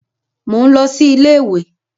Mò ń lọ sí iléèwé